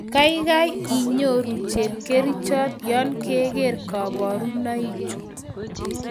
Kaigai inyoru chepkerichot yon keker kabarunoi chu